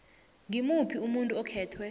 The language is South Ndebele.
ngimuphi umuntu okhethwe